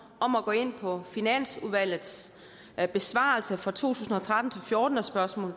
om at gå ind på finansudvalgets besvarelse fra to tusind og tretten til fjorten af spørgsmål